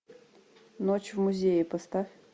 ночь в музее поставь